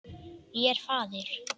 Ég er faðir.